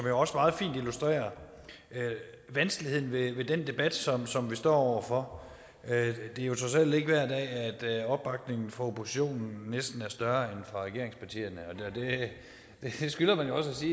jo også meget fint illustrerer vanskeligheden ved den debat som som vi står over for det er jo trods alt ikke hver dag at opbakningen fra oppositionen næsten er større end fra regeringspartierne det skylder man jo også